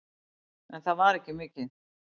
En það er ekki mikið.